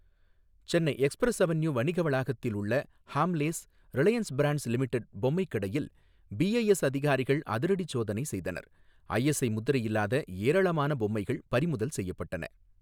சென்னையில் Express Avenue வணிக வளாகத்தில் உள்ள ஹாம்லேஸ், ரிலையன்ஸ் பிராண்ட்ஸ் லிமிடெட், பொம்மைக் கடையில் பிஐஎஸ் அதிகாரிகள் அதிரடிச் சோதனை செய்தனர். ஐஎஸ்ஐ முத்திரை இல்லாத ஏராளமான பொம்மைகள் பறிமுதல் செய்யப்பட்டன.